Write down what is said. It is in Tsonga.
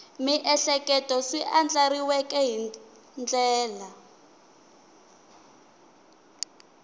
miehleketo swi andlariweke hi ndlela